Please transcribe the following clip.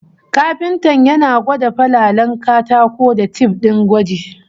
Kafintan yana gwada falalen katako da tif din gwaji